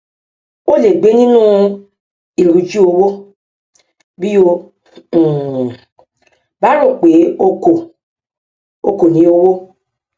o lè gbé nínú ìríjú owó bí o um bá rò pé o kò o kò ní owó